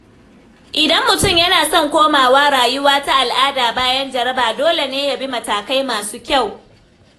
Idan mutum yana son komawa rayuwa ta al’ada bayan jaraba, dole ne ya bi matakai masu kyau.